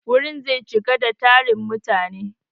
Gurin zai cika da tarin mutane.